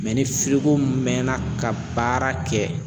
Mɛ ni mɛɛnna ka baara kɛ